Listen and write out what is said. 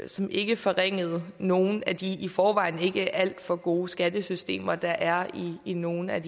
som ikke forringede nogle af de i forvejen ikke alt for gode skattesystemer der er i nogle af